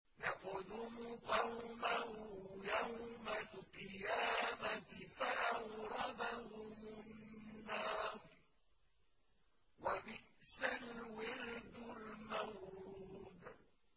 يَقْدُمُ قَوْمَهُ يَوْمَ الْقِيَامَةِ فَأَوْرَدَهُمُ النَّارَ ۖ وَبِئْسَ الْوِرْدُ الْمَوْرُودُ